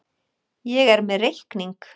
Ég er með reikning.